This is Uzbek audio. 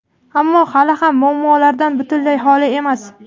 ammo hali ham muammolardan butunlay holi emas.